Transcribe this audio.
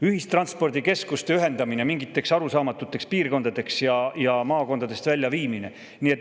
Ühistranspordikeskuste ühendamine mingiteks arusaamatuteks piirkondadeks ja maakondadest väljaviimine.